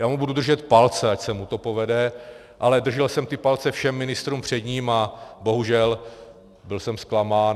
Já mu budu držet palce, ať se mu to povede, ale držel jsem ty palce všem ministrům před ním a bohužel byl jsem zklamán.